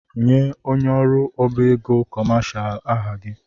Nye onye ọrụ ọbá égo kọmashal aha gị!